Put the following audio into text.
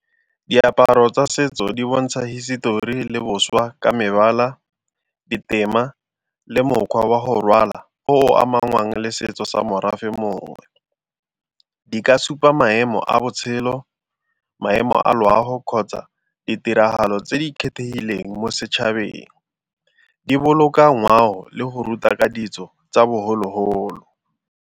Diaparo tsa setso di bontsha hisetori le boswa ka mebala, ditema le mokgwa wa go rwala o amangwang le setso sa morafe mongwe di ka se fa maemo a botshelo maemo a loago kgotsa ditiragalo tse di kgethegileng mo setšhabeng. Di boloka ngwao le go ruta ka ditso tsa bogologolo.